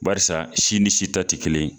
Barisa si ni si ta te kelen ye